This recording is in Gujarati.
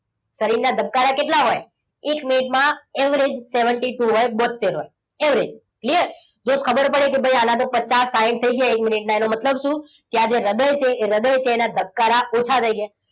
શરીરના ધબકારા કેટલા હોય? એક મિનિટમાં average seventy-two હોય. બોતેર હોય. average clear જો ખબર પડે કે ભાઈ આના તો પચાસ સાઈઠ થઈ ગયા છે એક મિનિટ ના. એનો મતલબ શું? કે આજે રદય છે એ હૃદય એના ધબકારા ઓછા થઈ ગયા.